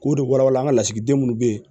K'o de walawala an ka lasigiden minnu bɛ yen